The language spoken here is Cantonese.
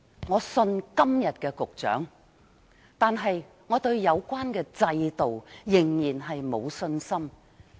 我相信今天的局長，但我對有關制度仍然沒有信心。